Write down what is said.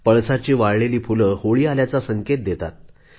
पळसाची वाळलेली फूले होळी आल्याचा संकेत देतात